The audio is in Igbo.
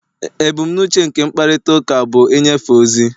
Ebumnuche nke mkparịta ụka bụ ịnyefe ozi